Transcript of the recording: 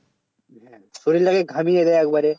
শরীরটাকে ঘামিয়ে দেয় একবার